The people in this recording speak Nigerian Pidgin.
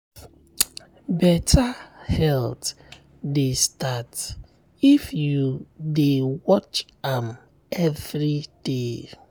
better health dey start if you dey watch am every day.